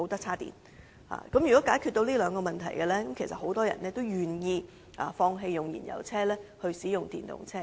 所以，政府若能解決上述兩個問題，相信很多人也願意放棄使用燃油車，轉用電動車。